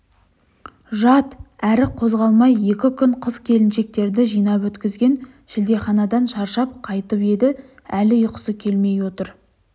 жат әрі қозғалмай екі күн қыз-келіншектерді жинап өткізген шілдеханадан шаршап қайтып еді әлі ұйқысы келмей отыр